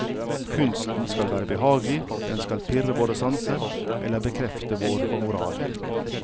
Kunsten skal være behagelig, den skal pirre våre sanser eller bekrefte vår moral.